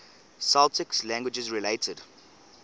celtic languages related